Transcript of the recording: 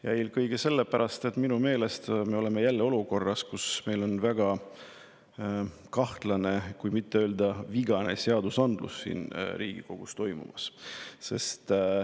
Ja eelkõige sellepärast, et minu meelest me oleme jälle olukorras, kus meil on väga kahtlane, kui mitte öelda vigane seadusandlus siin Riigikogus toimumas.